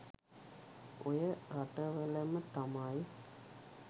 ඔය රටවලම තමයි